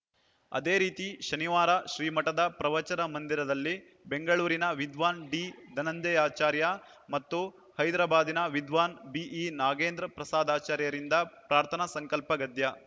ಅದೇ ರೀತಿ ಶನಿವಾರ ಶ್ರೀಮಠದ ಪ್ರವಚನ ಮಂದಿರದಲ್ಲಿ ಬೆಂಗಳೂರಿನ ವಿದ್ವಾನ್‌ ಡಿಧನಂಜಯಾಚಾರ್ಯ ಮತ್ತು ಹೈದರಾಬಾದಿನ ವಿದ್ವಾನ್‌ ಬಿಇನಾಗೇಂದ್ರ ಪ್ರಸಾದಾಚಾರ್ಯರಿಂದ ಪ್ರಾರ್ಥನಾ ಸಂಕಲ್ಪಗದ್ಯ